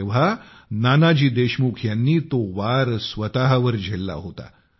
तेव्हा नानाजी देशमुख यांनी तो वार स्वतःवर झेलला होता